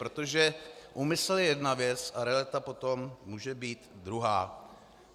Protože úmysl je jedna věc a realita potom může být druhá.